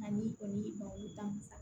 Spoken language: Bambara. Ani o ye babu ta musa